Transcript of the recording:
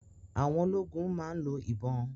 Àwọn ológun máa ń lo ìbọn